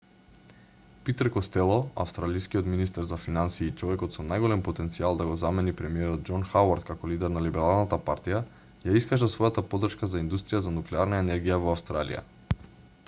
питер костело австралискиот министер за финансии и човекот со најголем потенцијал да го замени премиерот џон хауард како лидер на либералната партија ја искажа својата поддршка за индустрија за нуклеарна енергија во австралија